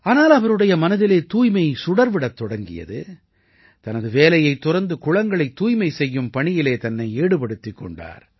ஆனால் அவருடைய மனதிலே தூய்மை சுடர் விடத் தொடங்கியது தனது வேலையைத் துறந்து குளங்களைத் தூய்மை செய்யும் பணியிலே தன்னை ஈடுபடுத்திக் கொண்டார்